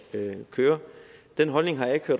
køre den holdning har jeg ikke